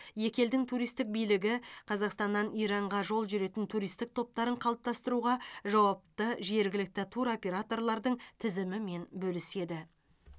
екі елдің туристік билігі қазақстаннан иранға жол жүретін туристік топтарын қалыптастыруға жауапты жергілікті туроператорлардың тізімімен бөліседі